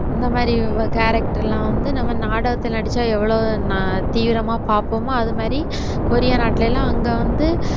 இந்த மாதிரி இவங்க character எல்லாம் வந்து நம்ம நாடகத்துல நடிச்சா எவ்வளவு தீவிரமா பார்ப்போமோ அது மாதிரி கொரியா நாட்டுல எல்லாம் அங்க வந்து